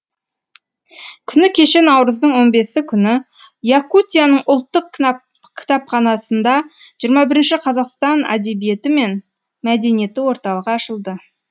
күні кеше наурыздың он бесі күні якутияның ұлттық кітапханасында жиырма бірінші қазақстан әдебиеті мен мәдениеті орталығы ашылды